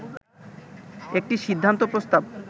একটি সিদ্ধান্ত প্রস্তাব